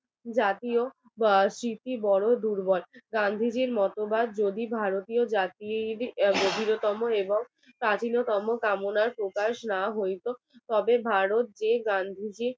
স্মৃতি বড় দুর্বল গান্ধীজীর মতবাদ যদি ভারতীয় জাতির গভীরতম এবং কাঠিন্যতম প্রকাশ না হইত তবে ভারত যে গান্ধীজি